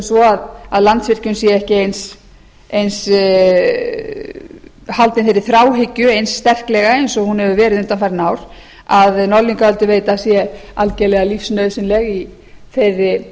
svo að landsvirkjun sé ekki haldin þeirri þráhyggju eins sterklega og hún hefur verið undanfarin ár að norðlingaölduveita sé algjörlega lífsnauðsynleg í þeirri